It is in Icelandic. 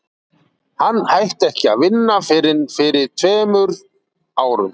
hann hætti ekki að vinna fyrr en fyrir tveim árum